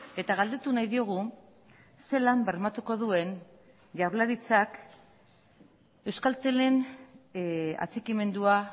eta galdetu nahi diogu ze lan bermatuko duen jaurlaritzak euskaltelen atxikimendua